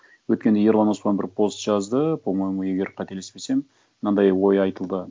өткенде ерлан оспан бір пост жазды по моему егер қателеспесем мынандай ой айтылды